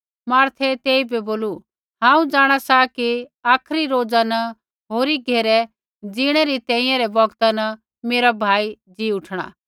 मार्थे तेइबै बोलू हांऊँ जाँणा सा कि आखरी रोज़ा न होरी घेरै जीणै री तैंईंयैं रै बौगता न मेरा भाई ज़ी उठणा